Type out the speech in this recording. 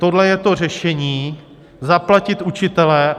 Tohle je to řešení, zaplatit učitele.